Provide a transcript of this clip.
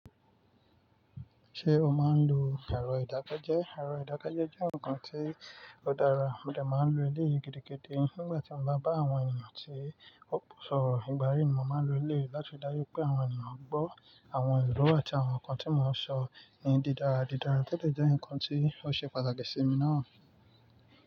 Ṣé o máa ń lo ẹ̀rọ ìdákẹ́jẹ́? Ẹ̀rọ ìdákẹ́jẹ́ jẹ́ nǹkan tí ó dára, mo dè máa ń lo eleyi gidi gidi nígbà tí mo bá bá àwọn ènìyàn tí ò pọ̀ sọ̀rọ̀. Ìgbàrí ni mo máa ń lo elee láti dájú pé àwọn ènìyàn gbọ́ àwọn ìlúwẹ̀ẹ́ àti àwọn nǹkan tí mò ń sọ ni dídara dídara tótẹ̀ jẹ́ ǹkan tí ó ṣe pàtàkì sí mi náà.